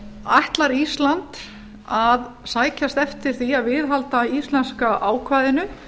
ætlar ísland að sækjast eftir því að viðhalda íslenska ákvæðinu